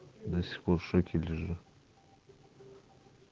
до сих пор в шоке лежу